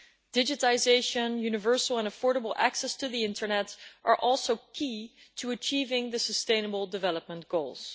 Digitisation and universal and affordable access to the internet are also key to achieving the sustainable development goals.